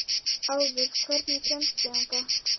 Auður, hvernig kemst ég þangað?